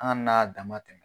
An kann'a damatɛmɛ.